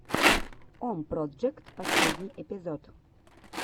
ом проджект последний эпизод